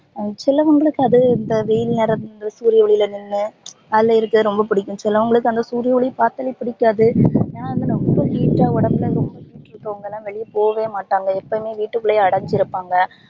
actual லா அவங்களுக்கு அது இந்த வெயில் நேரம் இந்த சூரிய ஒளில நின்னு அலையறது ரொம்ப புடிக்கும் சிலவங்களுக்கு அந்த சூரிய ஒலி பாத்தாலே புடிக்காது ரொம்ப heat டா உடம்புல ரொம்ப heat இருக்கவங்கலாம் வெளிய போகவே மாட்டாங்க எப்போவுமே வீட்டுகுள்ளே அடஞ்சி இருப்பாங்க